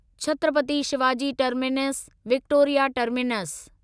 Chhatrapati Shivaji terminus Victoria terminus